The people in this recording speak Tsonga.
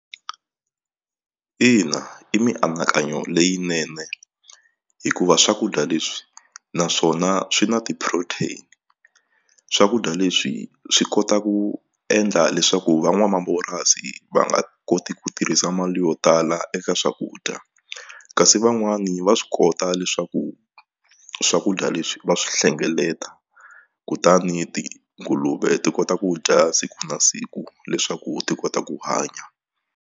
Ina, i mianakanyo leyinene hikuva swakudya leswi naswona swi na ti-protein swakudya leswi swi kotaku endla leswaku van'wamapurasi va nga koti ku tirhisa mali yo tala eka swakudya kasi van'wani va swi kota leswaku swakudya leswi va swi hlengeleta kutani tinguluve ti kota ku dya siku na siku leswaku ti kota ku hanya.